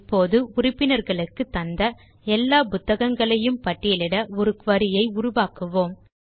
இப்போது உறுப்பினர்களுக்கு தந்த எல்லா புத்தகங்களையும் பட்டியலிட ஒரு குரி ஐ உருவாக்குவோம்